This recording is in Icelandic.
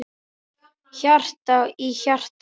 Hjarta í hjarta.